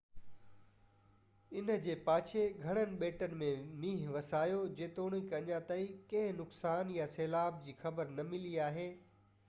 ان جي پاڇي گهڻن ٻيٽن م مينهن وسايو جيتوڻڪ اڃا تائين ڪنهن نقصان يا سيلاب جي خبر نہ ملي آهي